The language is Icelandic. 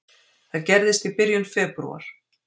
Það gerðist í byrjun febrúar.